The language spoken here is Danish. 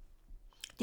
DR1